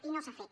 i no s’ha fet